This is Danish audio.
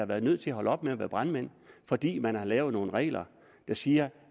været nødt til at holde op med at være brandmænd fordi man har lavet nogle regler der siger